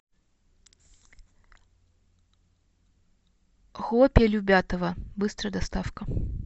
хлопья любятово быстрая доставка